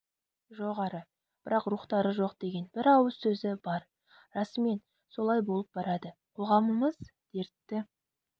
жоғары бірақ рухтары жоқ деген бір ауыз сөзі бар расымен солай болып барады қоғамымыз дертті